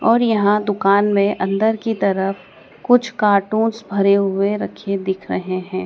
और यहां दुकान में अन्दर की तरफ कुछ कार्टून्स भरे हुए रखे दिख रहे हैं।